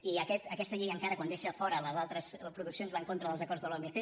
i aquesta llei encara quan deixa a fora les altres produccions va en contra dels acords de l’omc